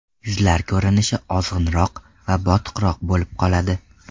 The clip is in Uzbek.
Yuzlar ko‘rinishi ozg‘inroq va botiqroq bo‘lib qoladi.